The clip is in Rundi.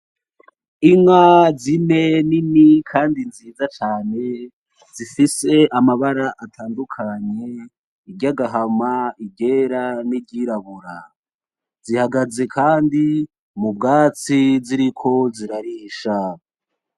Inka zine nini Kandi nziza cane zifise amabara atandukanye iryagahama, iryera niryirabura, zihagaze Kandi mubwatsi ziriko zirarisha.